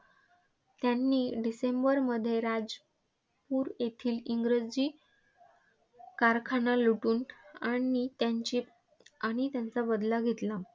त्यांनी डिसेंबरमध्ये राजपूर येथील इंग्रजी कारखाना लुटून आणि त्यांची आणि त्यांचा बदला घेतला.